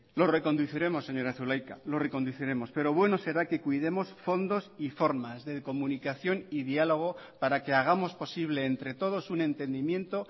lo reconduciremos señora zulaika lo reconduciremos pero bueno será que cuidemos fondos y formas de comunicación y diálogo para que hagamos posible entre todos un entendimiento